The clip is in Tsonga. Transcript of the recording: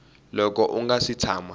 loko u nga si tshama